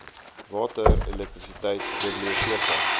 water elektrisiteit biblioteke